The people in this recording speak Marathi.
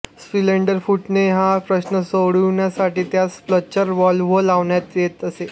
सिलेंडर फुटणे हा प्रश्न सोडविण्यासाठी त्यास रप्चर व्हॉल्व्ह लावण्यात येत असे